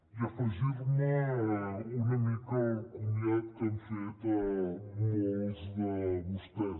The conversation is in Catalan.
i afegir me una mica al comiat que han fet molts de vostès